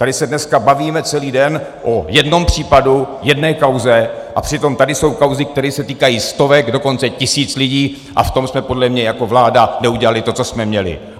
Tady se dneska bavíme celý den o jednom případu, o jedné kauze, přitom tady jsou kauzy, které se týkají stovek, dokonce tisíc lidí, a v tom jsme podle mě jako vláda neudělali to, co jsme měli.